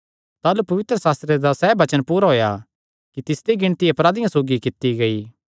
ताह़लू पवित्रशास्त्रे दा सैह़ वचन पूरा होएया कि तिसदी गिणती अपराधियां सौगी कित्ती गेई